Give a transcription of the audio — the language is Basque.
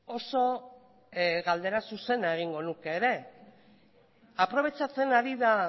oso galdera zuzena egingo nuke ere aprobetxatzen ari da